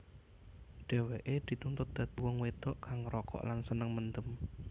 Dheweke dituntut dadi wong wedok kang ngrokok lan seneng mendem